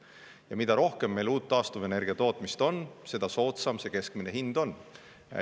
Ja mida rohkem meil uut taastuvenergia tootmist on, seda soodsam keskmine hind on.